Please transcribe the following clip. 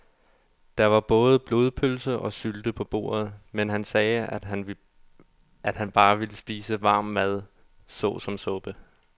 Der var både blodpølse og sylte på bordet, men han sagde, at han bare ville spise varm mad såsom suppe.